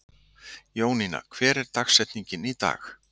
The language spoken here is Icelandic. Jóninna, hver er dagsetningin í dag?